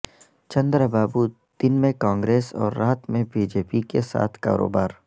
چندرا بابو دن میں کانگریس اور رات میں بی جے پی کے ساتھ کاروبار